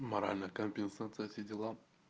моральная компенсация все дела